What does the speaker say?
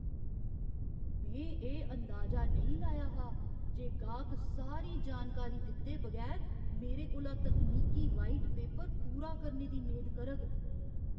में एह् अंदाजा नेईं लाया हा जे गाह्क सारी जानकारी दित्ते बगैर मेरे कोला तकनीकी व्हाइट पेपर पूरा करने दी मेद करग।